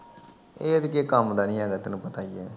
ਇਹ ਤਾਂ ਕਿਸੇ ਕੰਮ ਦਾ ਨਹੀ ਹੈਗਾ ਤੈਨੂੰ ਪਤਾ ਹੀ ਆ।